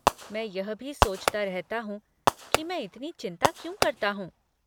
मैं यह भी सोचता रहता हूँ कि मैं इतनी चिंता क्यों करता हूँ।